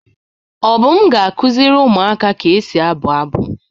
Obum ga-akuziri umuaka ka esi abu abu.